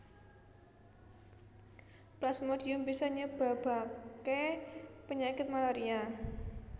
Plasmodium bisa nyebabaké penyakit malaria